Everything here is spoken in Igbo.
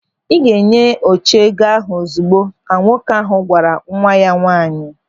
"Ị ga-enye Oche ego ahụ ozigbo", ka nwoke ahụ gwara nwa ya nwaanyị.